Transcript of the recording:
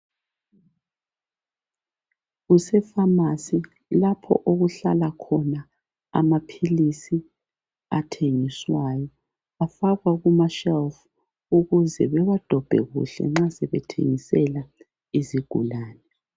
Kusefamasi lapho okuhlala khona amaphilisi athengiswayo afakwa kuma shelufu ukuze bawadobhe kuhle nxa sebethengisela izigulani.